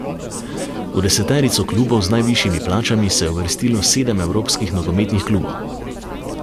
V deseterico klubov z najvišjimi plačami se je uvrstilo sedem evropskih nogometnih klubov.